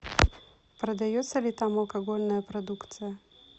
продается ли там алкогольная продукция